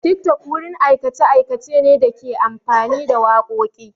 TikTok wurin aikace-aikace ne da ke amfani da wakoki.